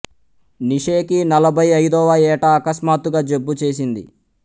Nietzsche కి నలభై అయిదవ ఏట అకస్మాత్తుగా జబ్బు చేసింది